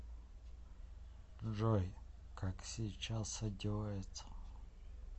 джой как сейчас одеваются